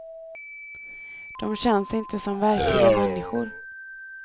Dom känns inte som verkliga människor.